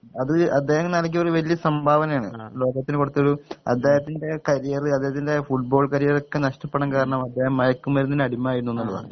അത് അദ്ദേഹം നൽകിയൊരു വലിയ സംഭാവനയാണ് ലോകത്തിന് കൊടുത്തൊരു അദ്ദേഹത്തിൻ്റെ കരിയറ് ഫുട്‌ബോൾ കരിയറൊക്കെ നഷ്ട്ടപ്പെടാൻ കാരണം അദ്ദേഹം മയക്കുമരുന്നിന് അടിമയായിരുന്നു എന്നുള്ളതാണ്